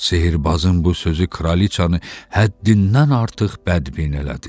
Sehrbazın bu sözü kraliçanı həddindən artıq bədbin elədi.